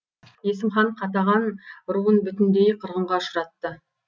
есім хан қатаған руын бүтіндей қырғынға ұшыратты